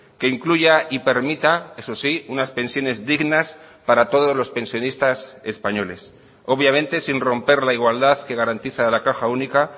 que incluya y permita eso sí unas pensiones dignas para todos los pensionistas españoles obviamente sin romper la igualdad que garantiza la caja única